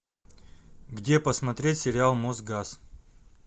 где посмотреть сериал мосгаз